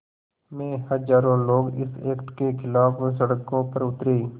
में हज़ारों लोग इस एक्ट के ख़िलाफ़ सड़कों पर उतरे